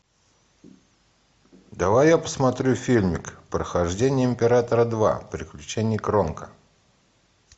давай я посмотрю фильмик похождения императора два приключения кронка